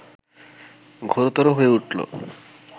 ঘোরতর হয়ে উঠল